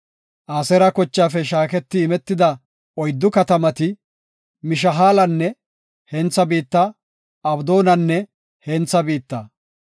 Aseera kochaafe shaaketi imetida oyddu katamati Mishaalanne hentha biitta, Abdoonanne hentha biitta,